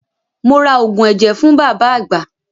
Mo ra oògùn ẹ̀jẹ̀ fún bàbá àgbà.